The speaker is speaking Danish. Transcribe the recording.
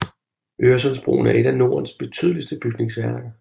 Øresundsbroen er et af Nordens betydeligste bygningsværker